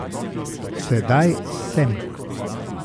Sedaj sem.